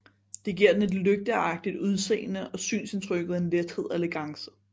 Det giver den et lygteagtigt udseende og synsindtrykket en lethed og elegance